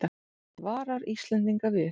Varar Íslendinga við